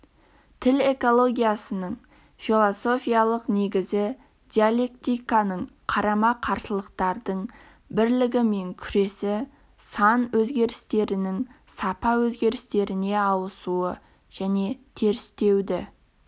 тіл экологиясының философиялық негізі диалектиканың қарама-қарсылықтардың бірлігі мен күресі сан өзгерістерінің сапа өзгерістеріне ауысуы және терістеуді